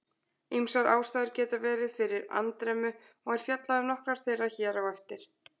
Ýmsar ástæður geta verið fyrir andremmu og er fjallað um nokkrar þeirra hér á eftir.